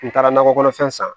N taara nakɔ kɔnɔfɛn san